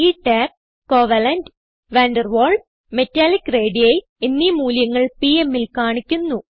ഈ tab covalent van der Waals metallic radii എന്നീ മൂല്യങ്ങൾ പിഎം ൽ കാണിക്കുന്നു